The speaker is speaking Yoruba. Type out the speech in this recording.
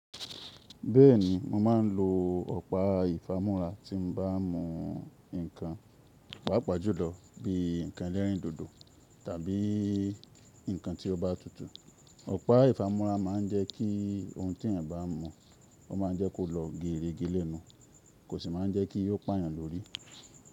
Bẹ́ẹ̀ni, mo máa ń lo ọ̀pá ìfamúra tí mo bá ń mú nǹkan, pàápàá júlọ bí i nǹkan ẹlẹ́rìndòdò tàbí nǹkan tí ó bá tutù. Ọ̀pá ìfamúra máa ń jẹ́ kí ohun tí ẹni bá mú, ó máa ń jẹ́ kó lọ geere geere lẹ́nu, kò sì máa ń jẹ́ kí ó pààyàn lórí.